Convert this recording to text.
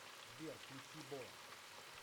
сбер включи бо